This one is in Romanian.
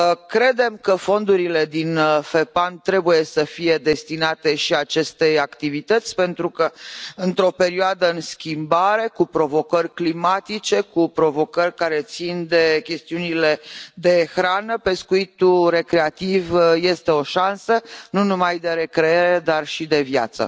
Credem că fondurile din FEPAM trebuie să fie destinate și acestei activități pentru că, într o perioadă în schimbare, cu provocări climatice, cu provocări care țin de chestiunile de hrană, pescuitul recreativ este o șansă nu numai de recreere, dar și de viață.